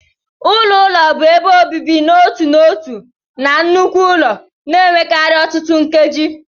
Ụlọ ụlọ bụ ebe obibi n'otu n'otu na nnukwu ụlọ, na-enwekarị ọtụtụ nkeji.p